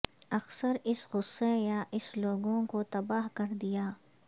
اکثر اس غصہ یااس لوگوں کو تباہ کر دیا